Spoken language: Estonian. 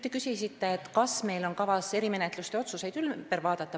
Te küsisite, kas meil on kavas erimenetluste otsuseid ümber vaadata.